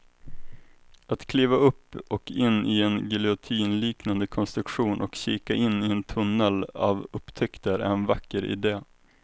Att kliva upp och in i en giljotinliknande konstruktion och kika in i en tunnel av upptäckter är en vacker idé.